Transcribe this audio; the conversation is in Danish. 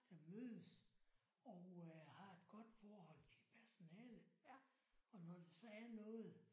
Der mødes og øh har et godt forhold til personalet og når der så er noget